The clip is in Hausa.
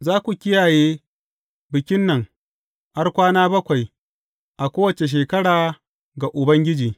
Za ku kiyaye bikin nan har kwana bakwai a kowace shekara ga Ubangiji.